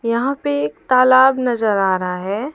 यहां पे एक तालाब नजर आ रहा हैं।